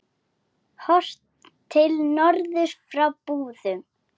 Horft til norðurs frá Búðum.